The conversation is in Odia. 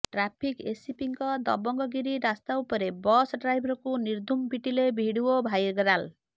ଟ୍ରାଫିକ୍ ଏସିପିଙ୍କ ଦବଙ୍ଗ ଗିରି ରାସ୍ତା ଉପରେ ବସ୍ ଡ୍ରାଇଭରକୁ ନିର୍ଧୁମ ପିଟିଲେ ଭିଡିଓ ଭାଇରାଲ